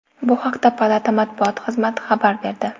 Bu haqda palata matbuot xizmati xabar berdi .